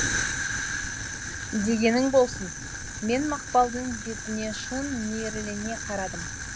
дегенің болсын мен мақпалдың бетіне шын мейірлене қарадым